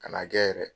Ka n'a kɛ yɛrɛ